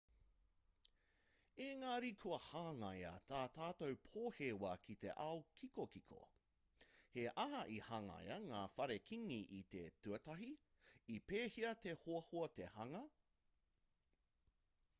engari kua hangaia tā tātou pōhewa ki te ao kikokiko he aha i hangaia ngā whare kīngi i te tuatahi i pēhea te hoahoa te hanga